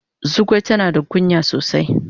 Zugwai tana da kunya sosai.